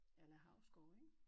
A la Hausgaard ik